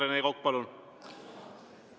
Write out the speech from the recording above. Rene Kokk, palun!